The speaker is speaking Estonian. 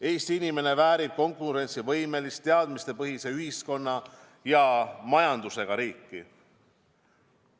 Eesti inimene väärib konkurentsivõimelist, teadmistepõhise ühiskonna ja majandusega riiki.